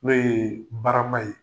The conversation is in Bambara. N'o ye barama ye.